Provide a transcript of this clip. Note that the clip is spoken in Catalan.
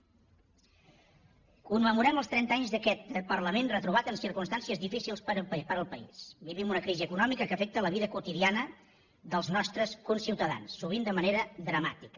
commemorem els trenta anys d’aquest parlament retrobat en circumstàncies difícils per al país vivim una crisi econòmica que afecta la vida quotidiana dels nostres conciutadans sovint de manera dramàtica